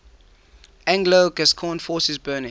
anglo gascon forces burning